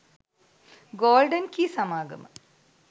golden key සමාගම